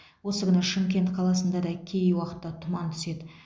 осы күні шымкент қаласында да кей уақытта тұман түседі